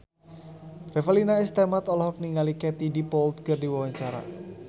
Revalina S. Temat olohok ningali Katie Dippold keur diwawancara